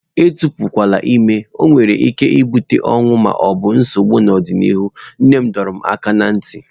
Etepukwala ime, ọ nwere ike ibute ọnwụ ma ọ bụ nsogbu n'ọdịnihu, nne m dọrọ m aka ná ntị.